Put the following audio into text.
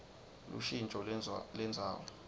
lushintjo lendzawo